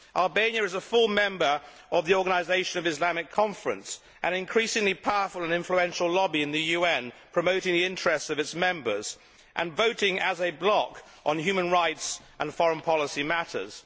Albania is a full member of the Organisation of the Islamic Conference, an increasingly powerful and influential lobby in the UN promoting the interests of its members and voting as a bloc on human rights and foreign policy matters.